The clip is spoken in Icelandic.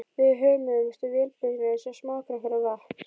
Við hömumst á vélbyssunum eins og smástrákar á vatns